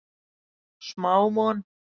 Smá von